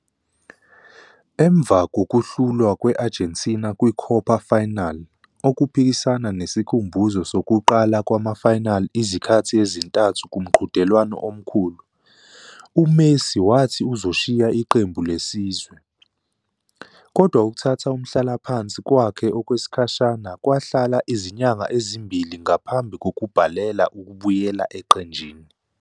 Emva kokuhlulwa kwe-Argentina kwi-Copa final-okuphikisana nesikhumbuzo sokuqala kwama-final izikhathi ezintathu kumqhudelwano omkhulu-uMessi wathi uzashiya iqembu lesizwe, kodwa "ukuthatha umhlalaphansi" kwakhe okwesikhashana kwahlala izinyanga ezimbili ngaphambi kokubhalela ukubuyela eqenjini.